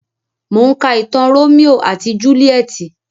Mò ń ka ìtàn Rómíò àti Júlíétì.